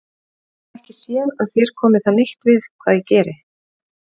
Ég get ekki séð að þér komi það neitt við hvað ég geri.